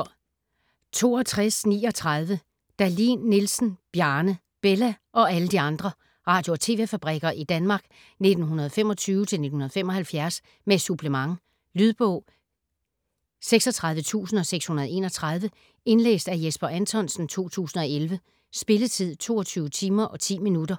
62.39 Dahlin Nielsen, Bjarne: "Bella" og alle de andre: radio- og TV-fabrikker i Danmark 1925-1975: med supplement Lydbog 36631 Indlæst af Jesper Anthonsen, 2011. Spilletid: 22 timer, 10 minutter.